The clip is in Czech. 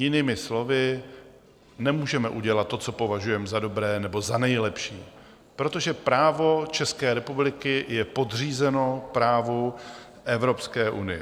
Jinými slovy: Nemůžeme udělat to, co považujeme za dobré nebo za nejlepší, protože právo České republiky je podřízeno právu Evropské unie.